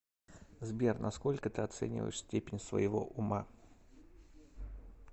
сбер насколько ты оцениваешь степень своего ума